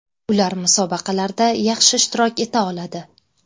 Ular musobaqalarda yaxshi ishtirok eta oladi.